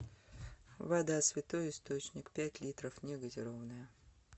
вода святой источник пять литров негазированная